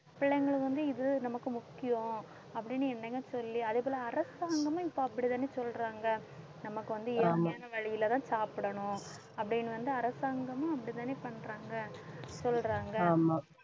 பிள்ளைங்களும் வந்து இது நமக்கு முக்கியம் அப்படின்னு சொல்லி அதே போல அரசாங்கமும் இப்ப அப்படித்தானே சொல்றாங்க நமக்கு வந்து இயற்கையான வழியிலதான் சாப்பிடணும் அப்படின்னு வந்து அரசாங்கமும் அப்படித்தானே பண்றாங்க சொல்றாங்க